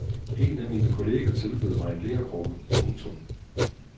En af mine kolleger tilbød mig en lerkrukke. punktum